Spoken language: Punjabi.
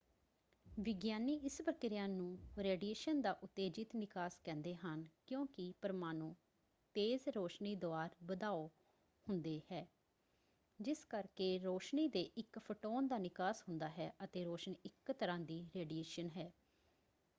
ਵਿਗਿਆਨੀ ਇਸ ਪ੍ਰਕਿਰਿਆ ਨੂੰ ਰੇਡੀਏਸ਼ਨ ਦਾ ਉਤੇਜਿਤ ਨਿਕਾਸ ਕਹਿੰਦੇ ਹਨ ਕਿਉਂਕਿ ਪਰਮਾਣੂ ਤੇਜ਼ ਰੋਸ਼ਨੀ ਦੁਆਰ ਵਧਾਓ ਹੁੰਦੇ ਹੈ ਜਿਸ ਕਰਕੇ ਰੋਸ਼ਨੀ ਦੇ ਇੱਕ ਫੋਟੋਨ ਦਾ ਨਿਕਾਸ ਹੁੰਦਾ ਹੈ ਅਤੇ ਰੋਸ਼ਨੀ ਇੱਕ ਤਰ੍ਹਾਂ ਦੀ ਰੇਡੀਏਸ਼ਨ ਹੈ।